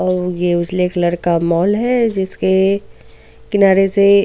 तो ये उजले कलर का मॉल है जिसके किनारे से.